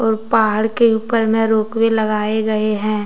और पहाड़ के ऊपर में रोपवे लगाए गए हैं।